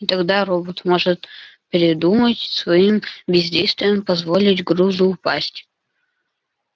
и тогда робот может передумать и своим бездействием позволить грузу упасть